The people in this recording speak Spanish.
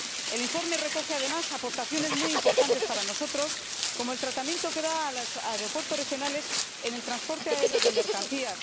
El informe recoge además aportaciones muy importantes para nosotros, como el tratamiento que da a los aeropuertos regionales en el transporte aéreo de mercancías.